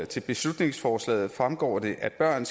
til beslutningsforslaget fremgår det at børn